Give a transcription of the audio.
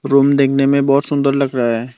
Room देखने में बहुत सुन्दर लग रहा है।